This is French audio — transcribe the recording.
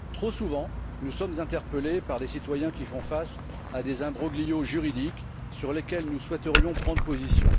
Trop souvent, nous sommes interpelés par des citoyens qui font face à des imbroglios juridiques sur lesquels nous souhaiterions prendre position